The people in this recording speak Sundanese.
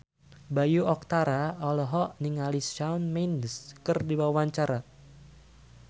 Bayu Octara olohok ningali Shawn Mendes keur diwawancara